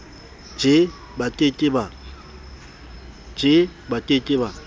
je ba ke ke ba